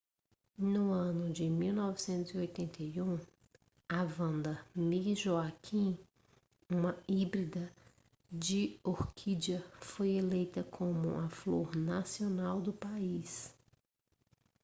no ano de 1981 a vanda miss joaquim uma híbrida de orquídea foi eleita como a flor nacional do país